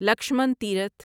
Lakshman Tirth